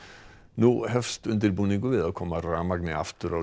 nú hefst undirbúningur við að koma rafmagni aftur á